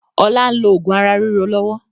Ọlá n lo oògùn ara ríro lọ́wọ́